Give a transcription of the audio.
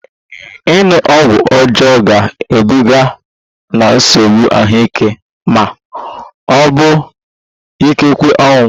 Ịṅụ ọgwụ ọjọọ ga-eduga ná nsogbu ahụike ma ọ bụ ikekwe ọnwụ